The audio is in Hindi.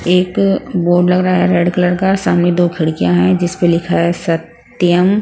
एक बोर्ड लग रहा है रेड कलर का सामने दो खिड़कियां हैं जिस पर लिखा है सत्यम--